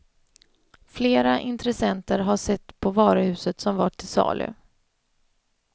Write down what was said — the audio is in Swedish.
Flera intressenter har sett på varuhuset som var till salu.